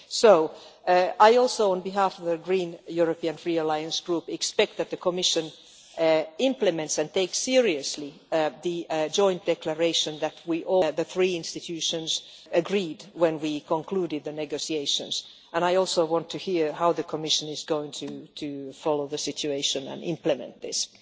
So I also, on behalf of the Green European Free Alliance Group, expect the Commission to implement and take seriously the joint declaration that the three institutions agreed when we concluded the negotiations, and I also want to hear how the Commission is going to follow the situation and implement this.